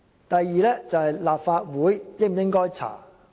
第二，立法會應否調查事件？